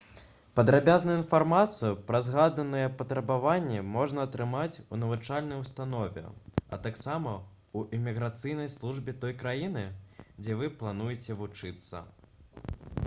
падрабязную інфармацыю пра згаданыя патрабаванні можна атрымаць у навучальнай установе а таксама ў іміграцыйнай службе той краіны дзе вы плануеце вучыцца